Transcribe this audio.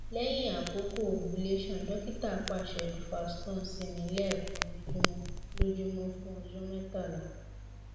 lẹhin akoko ovulation dokita paṣẹ duphaston si mi lẹẹkan lojumọ lojumọ fun ọjọ mẹtala